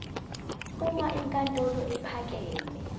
uma inkantolo ephakeme